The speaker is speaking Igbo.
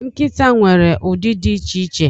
Nkịta nwere ụdị dị iche iche.